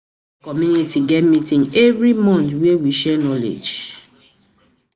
Our community get meeting every month, where we share knowledge.